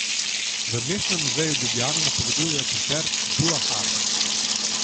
V Mestnem muzeju Ljubljana napovedujejo koncert dua harf.